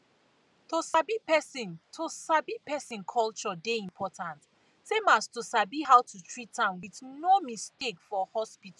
to sabi person to sabi person culture dey important same as to sabi how to treat am with no mistake for hospital